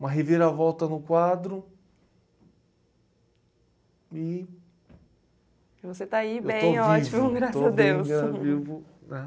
Uma reviravolta no quadro e... Estou vivo. Você está aí bem, ótimo, graças a Deus.